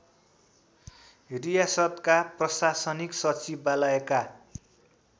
रियासतका प्रशासनिक सचिवालयका